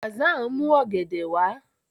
Hassan n mu ògèdè wá.